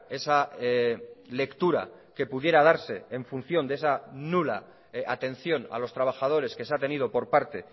esa lectura que pudiera darse en función de esa nula atención a los trabajadores que se ha tenido por parte